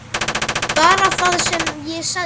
Bara það sem ég sagði.